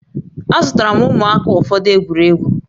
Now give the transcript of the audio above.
Azụtara m ụmụaka ụfọdụ egwuregwu